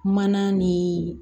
Mana ni